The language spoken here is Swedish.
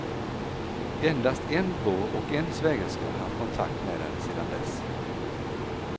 Endast en bror och en svägerska har haft kontakt med henne sedan dess.